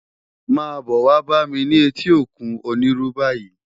Má bò wá bá mi ni éti ókún Oniru bàyi